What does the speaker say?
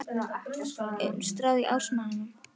Er hún skráð á árásarmanninn?